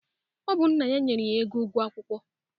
Ọ bụ nna ya nyere ya ego ụgwọ akwụkwọ.